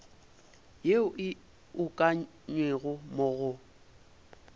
yeo e ukangwego mo go